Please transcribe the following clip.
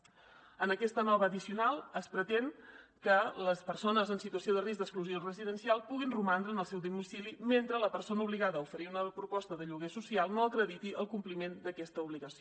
en aquesta nova addicional es pretén que les persones en situació de risc d’exclusió residencial puguin romandre en el seu domicili mentre la persona obligada a oferir una proposta de lloguer social no acrediti el compliment d’aquesta obligació